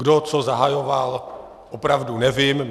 Kdo co zahajoval, opravdu nevím.